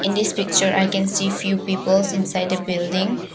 In this picture I can see few peoples inside a building.